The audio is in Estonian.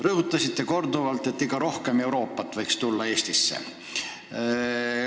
Rõhutasite korduvalt, et Eestis võiks olla rohkem Euroopat.